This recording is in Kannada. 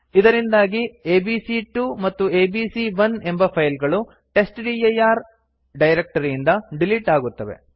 ಇದರಿಂದಾಗಿ ಎಬಿಸಿ2 ಮತ್ತು ಎಬಿಸಿ1 ಎಂಬ ಫೈಲ್ ಗಳು ಟೆಸ್ಟ್ಡಿರ್ ಡೈರಕ್ಟರಿಯಿಂದ ಡಿಲಿಟ್ ಆಗುತ್ತವೆ